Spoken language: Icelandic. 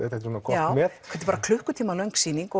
já þetta er bara klukkutíma löng sýning